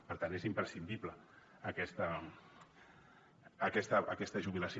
per tant és imprescindible aquesta jubilació